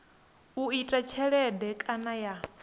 u ita tshelede kana ya